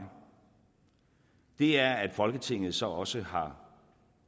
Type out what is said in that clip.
er at folketinget så også har